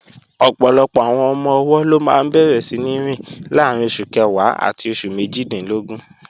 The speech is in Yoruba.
Ọ̀pọ̀lọpọ̀ àwọn ọmọ-ọwọ́ ló máa bẹ̀rẹ̀ síní rìn láàrín oṣù kẹwàá àti oṣù méjìdínlógún